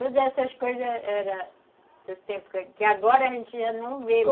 Todas essas coisas era era do tempo, que agora a gente já não vê